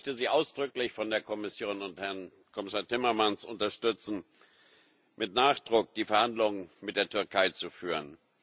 Aber ich möchte Sie ausdrücklich von der Kommission und Herrn Kommissar Timmermans unterstützen, mit Nachdruck die Verhandlungen mit der Türkei zu führen.